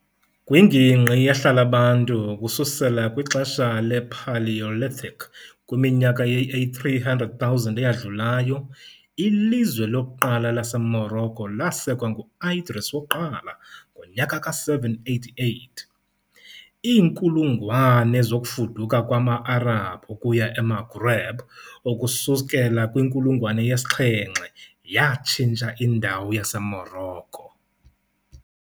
Kwingingqi ehlala abantu ukususela kwixesha le- Paleolithic kwiminyaka eyi-300,000 eyadlulayo, ilizwe lokuqala laseMorocco lasekwa ngu -Idris I ngo-788. Iinkulungwane zokufuduka kwama-Arabhu ukuya eMaghreb ukusukela kwinkulungwane yesi-7 yatshintsha indawo yaseMorocco.